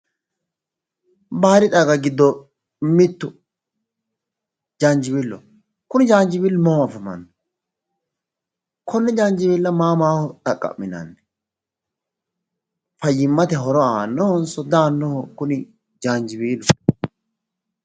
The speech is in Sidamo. Baadi xagga giddo mittu jaanjiweeloho. Kuni jaanjiweelo mama afamanno? Konne janjiweelo maa maho xaqqa'minanni? Fayyimmate horo aannohonso di aannoho jaanjiweelu?